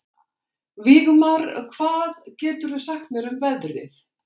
Vígmar, hvað geturðu sagt mér um veðrið?